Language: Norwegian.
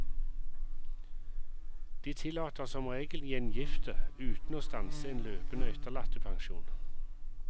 De tillater som regel gjengifte uten å stanse en løpende etterlattepensjon.